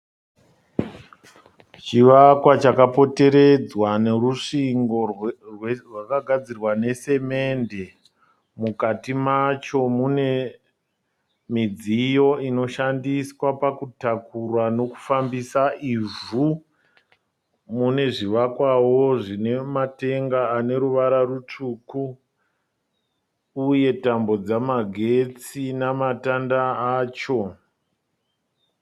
Chivakwa chakapoteredzwa nerusvingo rwakagadzirwa nesimende. Mukati macho mune midziyo inoshandiswa pakutakura nokufambisa ivhu. Mune zvivakwawo zvine matenga ane ruvara rutsvuku, uye tambo dzamagetsi namatanda acho.